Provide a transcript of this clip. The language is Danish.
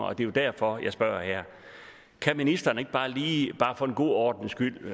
og det er jo derfor at jeg spørger kan ministeren ikke bare lige for en god ordens skyld